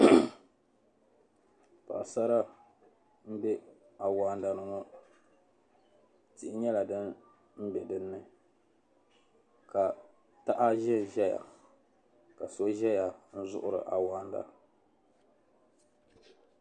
paɣisara m-be awaanda ni ŋɔ tihi nyɛla din be di ni ka taha zanzaya ka so zaya n-zuɣiri awaanda